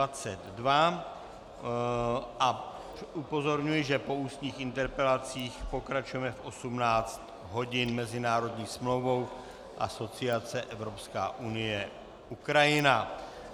A upozorňuji, že po ústních interpelacích pokračujeme v 18. hodin mezinárodní smlouvou, asociace, Evropská unie - Ukrajina.